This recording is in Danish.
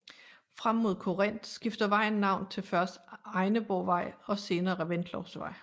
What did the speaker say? Frem mod Korinth skifter vejen navn til først Egneborgvej og senere Reventlowsvej